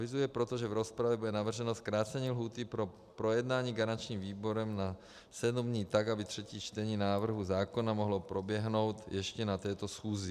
Avizuji proto, že v rozpravě bude navrženo zkrácení lhůty pro projednání garančním výborem na sedm dní, tak aby třetí čtení návrhu zákona mohlo proběhnout ještě na této schůzi.